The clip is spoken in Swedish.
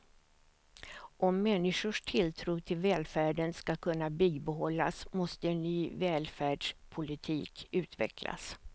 Om människors tilltro till välfärden ska kunna bibehållas måste en ny välfärdspolitik utvecklas.